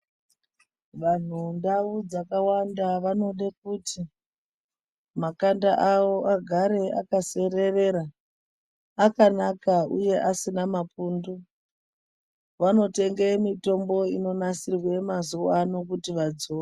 Vanhu mundau dzakawanda vanode kuti makanda awo agare akasererera akanaka uye asina mapundu. Vanotenge mitombo inonasirwe mazuwa ano kuti vadzore.